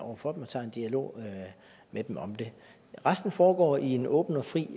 over for dem og tager en dialog med dem om det resten foregår i en åben og fri